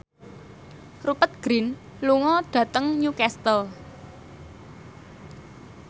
Rupert Grin lunga dhateng Newcastle